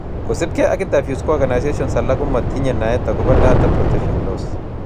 Kosubkei ak interviews ko organisations alake komotinyei naet akobo data protection laws